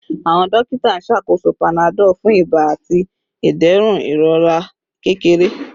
Awọn dokita n ṣakoso panadol fun iba ati iderun irora kekere